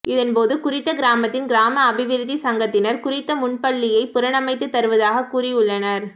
இதன்போது குறித்த கிராமத்தின் கிராம அபிவிருத்திச் சங்கத்தினர் குறித்த முன்பள்ளியை புனரமைத்து தருவதாக கூறியுள்ளனர்